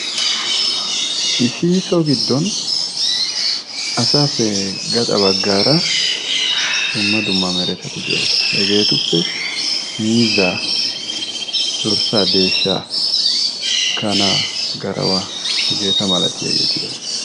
Issi so giddon asaappe gaxa baggaara dumma dumma neretati de'oosona. Hegeetuppe miizzaa, dorssaa, deeshshaa, kanaa garawaa hegeeta malatitageeti doosona.